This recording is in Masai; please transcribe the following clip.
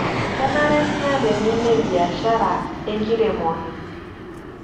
Kenare niyata eng'eno ebiashara enkiremore